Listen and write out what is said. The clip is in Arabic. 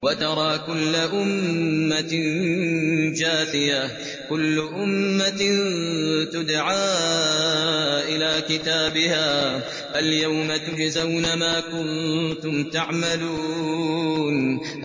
وَتَرَىٰ كُلَّ أُمَّةٍ جَاثِيَةً ۚ كُلُّ أُمَّةٍ تُدْعَىٰ إِلَىٰ كِتَابِهَا الْيَوْمَ تُجْزَوْنَ مَا كُنتُمْ تَعْمَلُونَ